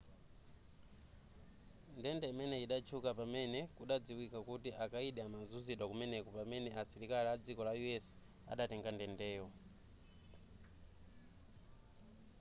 ndende imeneyi idatchuka pamene kudadziwika kuti akayidi amazuzidwa kumeneko pamene asilikali adziko la us adatenga ndendeyo